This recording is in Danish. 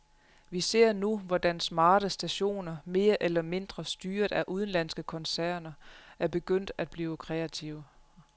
Vi ser nu, hvordan smarte stationer, mere eller mindre styret af udenlandske koncerner, er begyndt at blive kreative.